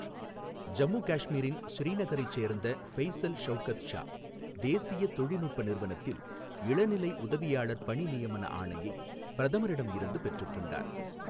ஜம்மு காஷ்மிரின் ஸ்ரீநகரைச் சேர்ந்த ஃபெய்சல் ஷவுகத் ஷா தேசிய தொழில்நுட்ப நிறுவனத்தில் இளநிலை உதவியாளர் பணி நியமன ஆணையை பிரதமரிடம் இருந்து பெற்றுக் கொண்டார்.